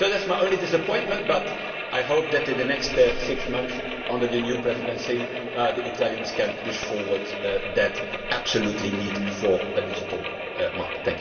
So that is my only disappointment, but I hope that in the next six months under the new Presidency, the Italians can push forward that absolute need for a digital market.